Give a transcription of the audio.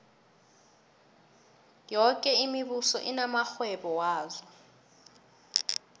yoke imibuso inamarhwebo yazo